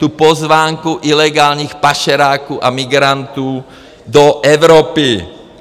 Tu pozvánku ilegálních pašeráků a migrantů do Evropy.